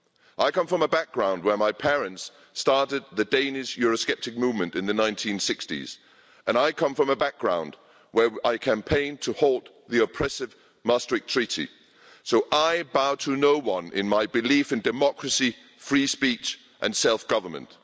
I come from a background where my parents started the Danish Eurosceptic movement in the 1960s and I come from a background where I campaigned to halt the oppressive Maastricht Treaty, so I bow to no one in my belief in democracy, free speech and self government.